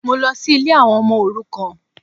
Mọ lọ sí ilé àwọn ọmọ òrukàn